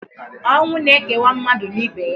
Ọnwụ na-ekewa mmadụ na ibe ya.